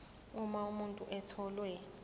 uma umuntu etholwe